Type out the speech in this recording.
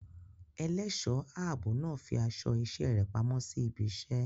Ẹlẹ́ṣọ̀ ààbò náà fi aṣọ iṣẹ́ rẹ̀ pamọ́ sí ibi iṣẹ́.